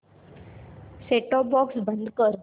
set top box बंद कर